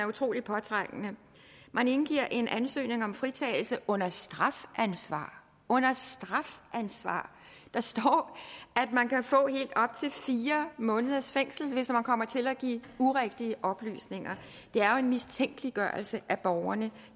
utrolig påtrængende man indgiver en ansøgning om fritagelse under strafansvar under strafansvar der står at man kan få helt op til fire måneders fængsel hvis man kommer til at give urigtige oplysninger det er jo en mistænkeliggørelse af borgerne